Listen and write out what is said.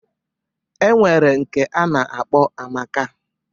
E nwere nke a na-akpọ Amaka.